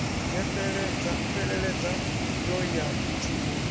ya fheleledza yo ya thumbuni